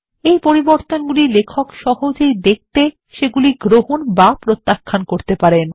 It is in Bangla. এই পরিবর্তনগুলি লেখক সহজেই দেখতে সেগুলি গ্রহণ বা প্রত্যাখ্যান করতে পারেন